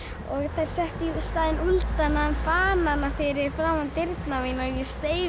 þær settu í staðinn banana fyrir framan dyrnar og ég steig